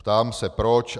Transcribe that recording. Ptám se proč.